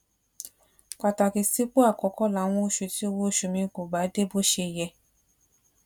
pàtàkì sípò àkókó láwọn oṣù tí owó oṣù mi kò bá dé bó ṣe yẹ